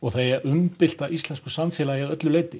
það eigi að umbylta íslensku samfélagi að öllu leyti